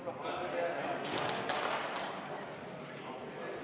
Jätkame tänast istungit.